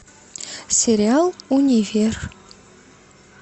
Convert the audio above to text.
сериал универ